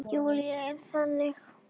Júlía er þannig.